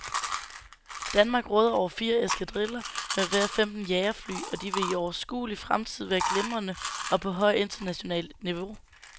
Danmark råder over fire eskadriller med hver femten jagerfly, og de vil i overskuelig fremtid være glimrende og på højt internationalt niveau.